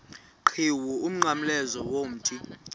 qhiwu umnqamlezo womthi